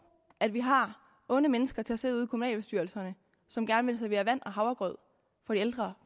at vi har onde mennesker til at sidde ude i kommunalbestyrelserne som gerne vil servere vand og havregrød for de ældre